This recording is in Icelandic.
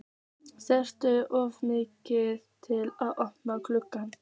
Skelf of mikið til að opna gluggann.